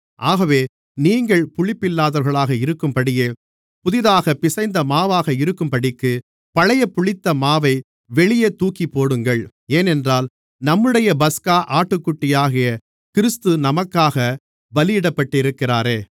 ஆகவே நீங்கள் புளிப்பில்லாதவர்களாக இருக்கிறபடியே புதிதாகப் பிசைந்த மாவாக இருக்கும்படிக்கு பழைய புளித்த மாவை வெளியே தூக்கிப்போடுங்கள் ஏனென்றால் நம்முடைய பஸ்கா ஆட்டுக்குட்டியாகிய கிறிஸ்து நமக்காக பலியிடப்பட்டிருக்கிறாரே